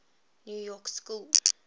new york school